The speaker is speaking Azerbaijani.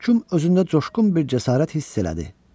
Məhkum özündə coşqun bir cəsarət hiss elədi.